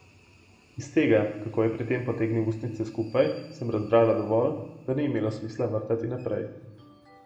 Iz tega, kako je pri tem potegnil ustnice skupaj, sem razbrala dovolj, da ni imelo smisla vrtati naprej.